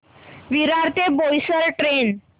विरार ते बोईसर ट्रेन